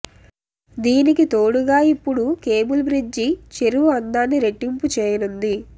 దీనికి తోడుగా ఇప్పుడు కేబుల్ బ్రిడ్జి చెరువు అందాన్ని రెట్టింపు చేయనుంది